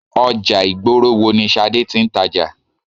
Ọjà ìgboro wo ni Ṣadé tí ń tàjà?